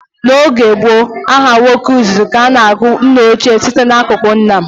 N' oge gboo, aha nwoke izizi ka a na-agụ nnaochie site n'akụkụ nna.